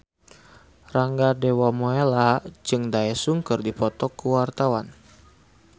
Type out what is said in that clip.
Rangga Dewamoela jeung Daesung keur dipoto ku wartawan